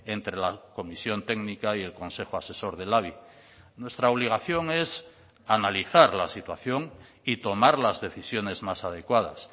entre la comisión técnica y el consejo asesor del labi nuestra obligación es analizar la situación y tomar las decisiones más adecuadas